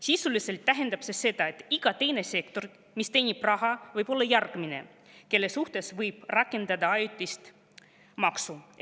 Sisuliselt tähendab see seda, et ka iga teine sektor, mis teenib raha, võib olla järgmine, kelle suhtes võib rakendada ajutist maksu.